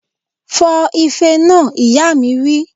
Fọ ife náà! Ìyá mi wí